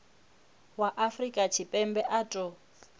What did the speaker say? wa afrika tshipembe a ṱo